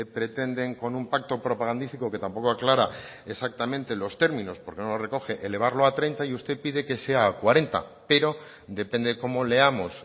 pretenden con un pacto propagandístico que tampoco aclara exactamente los términos porque no los recoge elevarlo a treinta y usted pide que sea a cuarenta pero depende cómo leamos